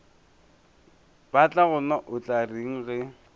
batlagonna o tla reng ge